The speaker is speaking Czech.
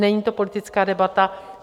Není to politická debata.